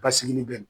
Basigi bɛ